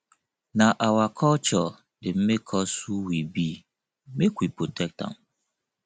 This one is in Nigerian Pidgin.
na our culture dey make us who we be make we protect am